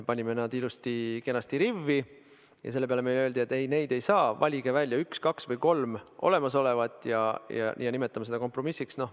Panime need ilusti-kenasti rivvi, aga selle peale öeldi, et ei, neid ei saa, valige välja üks, kaks või kolm olemasolevat ja nimetame seda kompromissiks.